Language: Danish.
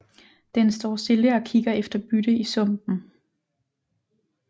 Den står stille og kigger efter bytte i sumpen